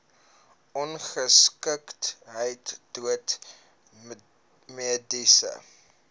ongeskiktheid dood mediese